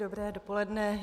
Dobré dopoledne.